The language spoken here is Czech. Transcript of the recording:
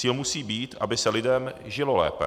Cíl musí být, aby se lidem žilo lépe.